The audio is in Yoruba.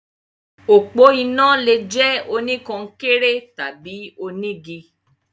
Òpó iná lè jẹ́ oníkọnkéré tàbí onígi.